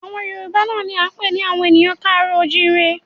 Àwọn Yorùbá náà ni a ń pè ní àwọn ènìyàn ká àárọ̀ o ò jíire bí